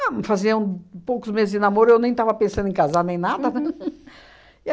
faziam poucos meses de namoro, eu nem estava pensando em casar nem nada E